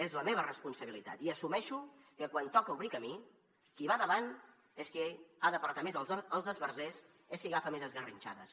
és la meva responsabilitat i assumeixo que quan toca obrir camí qui va davant és qui ha d’apartar més els esbarzers és qui agafa més esgarrinxades